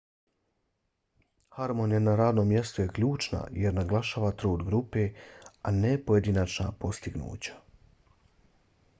harmonija na radnom mjestu je ključna jer naglašava trud grupe a ne pojedinačna postignuća